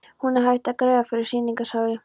Hún er hætt að greiða fyrir sýningarsali.